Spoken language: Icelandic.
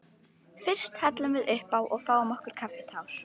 Fyrst hellum við uppá og fáum okkur kaffitár.